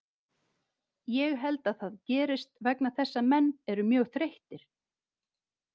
Ég held að það gerist vegna þess að menn eru mjög þreyttir.